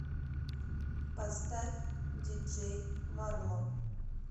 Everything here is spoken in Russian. поставь диджей марлон